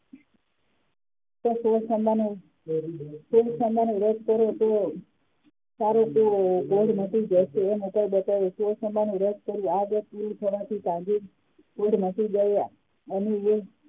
વ્રત કરવો કરવો તેનાથી વ્રત કરવાથી વ્રત કર્યું આનાથી કોઢ મટી ગયા અને એ